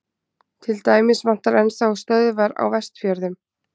til dæmis vantar enn þá stöðvar á vestfjörðum